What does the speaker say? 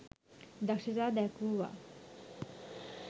දක්‍ෂතා දැක්වූවා.